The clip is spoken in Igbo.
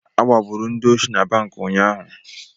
Agbagburu ndị osi na banki unyaahụ.